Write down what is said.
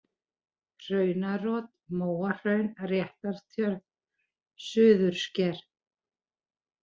Hraunarot, Móahraun, Réttartjörn, Suðursker